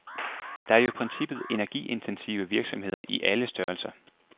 Der er jo i princippet energiintensive virksomheder i alle størrelser.